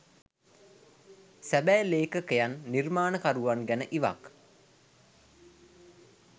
සැබෑ ලේඛකයන් නිර්මාණකරුවන් ගැන ඉවක්